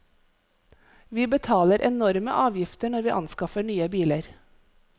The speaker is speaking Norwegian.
Vi betaler enorme avgifter når vi anskaffer nye biler.